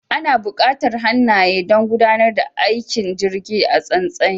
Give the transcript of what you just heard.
Ana bukatar hannaye don gudanar da aikin jirgin a tsantsi